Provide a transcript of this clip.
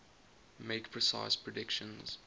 make precise predictions